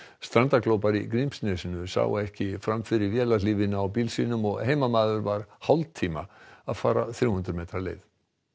strandaglópar í Grímsnesi sáu ekki fram fyrir á bíl sínum og heimamaður var hálftíma að fara þrjú hundruð metra leið